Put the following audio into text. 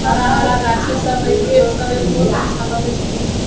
हरा-हरा गाछी सब है गेट सब है बहुत अच्छा लागे छे देखे में |